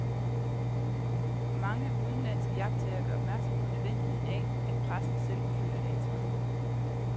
Mange udenlandske iagttagere gør opmærksom på nødvendigheden af, at pressen selv føler et ansvar.